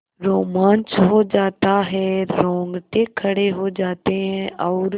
रोमांच हो आता है रोंगटे खड़े हो जाते हैं और